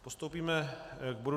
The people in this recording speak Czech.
Postoupíme k bodu